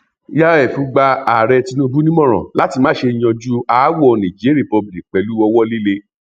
yíf gba ààrẹ tinubu nímọràn láti má ṣe yanjú aáwọ niger republic pẹlú owó líle